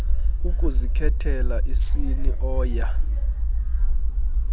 ukuzikhethela isini oya